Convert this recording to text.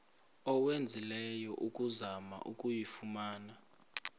owenzileyo ukuzama ukuyifumana